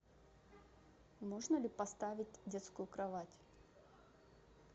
можно ли поставить детскую кровать